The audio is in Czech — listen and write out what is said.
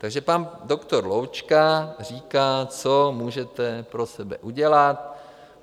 Takže pan doktor Loučka říká, co můžete pro sebe udělat.